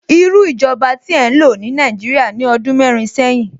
Irú ìjọba tí ẹ ń lò ní Nàìjíríà ní ọdún mẹ́rin sẹ́yìn?